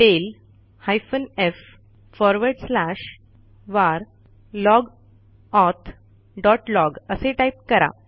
tail space hyphen F space forward slash var log auth dot log असे type करा